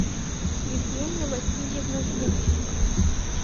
евгения васильевна демченко